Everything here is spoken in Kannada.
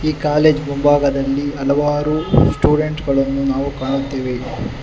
ಈ ಕಾಲೇಜ್ ಮುಂಭಾಗದಲ್ಲಿ ಹಲವಾರು ಸ್ಟುಡೆಂಟ್ ಗಳನ್ನು ನಾವು ಕಾಣುತ್ತೇವೆ.